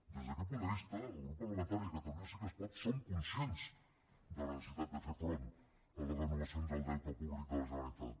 des d’aquest punt de vista el grup parlamentari de catalunya sí que es pot som conscients de la necessitat de fer front a les renovacions del deute públic de la generalitat